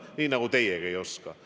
Nii nagu teiegi ei oska.